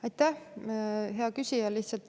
Aitäh, hea küsija!